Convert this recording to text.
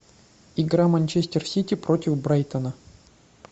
игра манчестер сити против брайтона